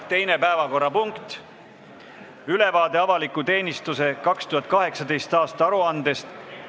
Teine päevakorrapunkt: ülevaade avaliku teenistuse 2018. aasta aruandest.